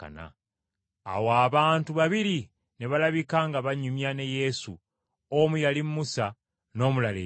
Awo abantu babiri ne balabika nga banyumya ne Yesu, omu yali Musa n’omulala Eriya,